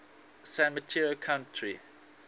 san mateo county